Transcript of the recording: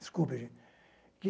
Desculpa, gente.